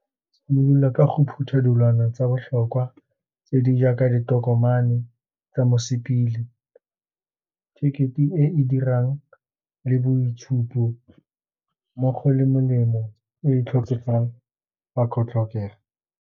Go simolola ka go phutha dilwana tsa botlhokwa tse di jaaka ditokomane tsa mosepele, tekete e dirang le boitshupo, mmogo le molemo e e tlhokegang tlhokega.